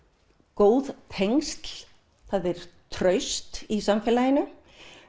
góð tengsl það er traust í samfélaginu